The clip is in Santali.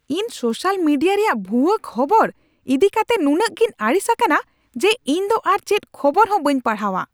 ᱤᱧ ᱥᱳᱥᱟᱞ ᱢᱮᱰᱤᱭᱟ ᱨᱮᱭᱟᱜ ᱵᱷᱩᱣᱟᱹ ᱠᱷᱚᱵᱚᱨ ᱤᱫᱤ ᱠᱟᱛᱮ ᱱᱩᱱᱟᱹᱜ ᱜᱤᱧ ᱟᱹᱲᱤᱥ ᱟᱠᱟᱱᱟ ᱡᱮ ᱤᱧᱫᱚ ᱟᱨ ᱪᱮᱫ ᱠᱷᱚᱵᱚᱨᱦᱚᱸ ᱵᱟᱹᱧ ᱯᱟᱲᱦᱟᱣᱟ ᱾